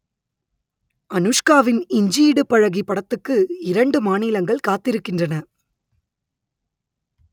அனுஷ்காவின் இஞ்சி இடுப்பழகி படத்துக்கு இரண்டு மாநிலங்கள் காத்திருக்கின்றன